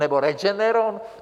Nebo Regeneron?